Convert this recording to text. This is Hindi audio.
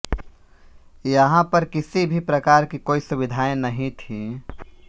यहाँ पर किसी भी प्रकार की कोई सुविधाएँ नहीं थीं